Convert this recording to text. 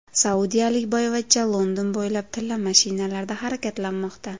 Saudiyalik boyvachcha London bo‘ylab tilla mashinalarda harakatlanmoqda.